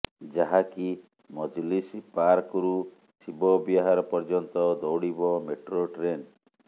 ଯାହାକି ମଜଲିସ୍ ପାର୍କରୁ ଶିବ ବିହାର ପର୍ଯ୍ୟନ୍ତ ଦୌଡ଼ିବ ମେଟ୍ରୋ ଟ୍ରେନ୍